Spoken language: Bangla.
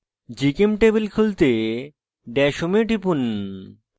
gchemtable খুলতে dash home এ টিপুন